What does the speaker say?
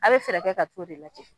A be fɛɛrɛ kɛ ka t'o de lajɛ